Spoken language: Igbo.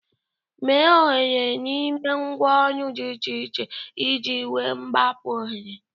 Mee oghere n'ime ngwa oru dị iche iche iji igwe mgbapu ohere.